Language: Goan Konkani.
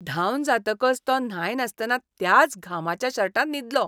धांवन जातकच तो न्हाय नासतना त्याच घामाच्या शर्टांत न्हिदलो.